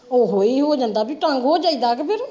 ਓਹੋ ਹੀ ਹੋ ਜਾਂਦਾ ਬੀ ਤੰਗ ਹੋ ਜਾਇਦਾ ਕ ਫਿਰ।